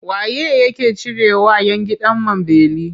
Wa ye yake cirewa 'yan gidan man beli?